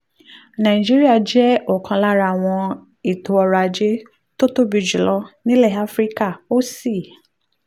nàìjíríà jẹ́ ọ̀kan lára àwọn ètò ọrọ̀ ajé tó tóbi jù lọ nílẹ̀ áfíríkà ó sì